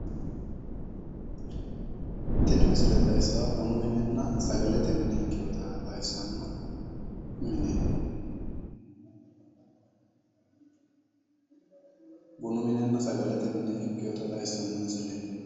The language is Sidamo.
Tini misile xawissaahu bunu minenna sagalete mine ikkewoota xawissanno mineeti. bunu minenna sagalete mine ikkewoota xawissanno mineeti.